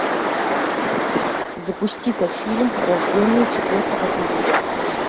запусти ка фильм рожденный четвертого июля